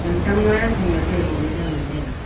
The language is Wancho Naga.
lam tang ma khanak boh ley jow ngan taiga.